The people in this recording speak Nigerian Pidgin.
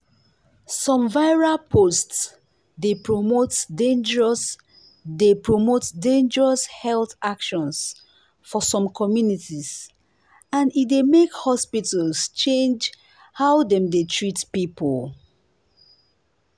some viral post dey promote dangerous dey promote dangerous health actions for some communities and e dey make hospitals change how dem dey treat people.